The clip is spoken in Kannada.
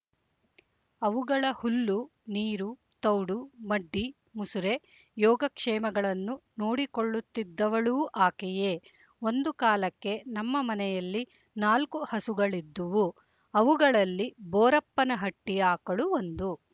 ಅವುಗಳ ಹುಲ್ಲು ನೀರು ತೌಡು ಮಡ್ಡಿ ಮುಸುರೆ ಯೋಗಕ್ಷೇಮಗಳನ್ನು ನೋಡಿಕೊಳ್ಳುತ್ತಿದ್ದವಳೂ ಆಕೆಯೇ ಒಂದು ಕಾಲಕ್ಕೆ ನಮ್ಮ ಮನೆಯಲ್ಲಿ ನಾಲ್ಕು ಹಸುಗಳಿದ್ದುವು ಅವುಗಳಲ್ಲಿ ಬೋರಪ್ಪನ ಹಟ್ಟಿ ಆಕಳು ಒಂದು